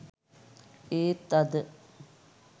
ඒත් අද